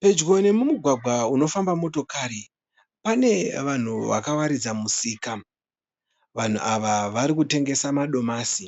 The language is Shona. Pedyo nemumugwagwa unofamba motokari. Pane vanhu vakawaridza musika. Vanhu ava vari kutengesa madomasi.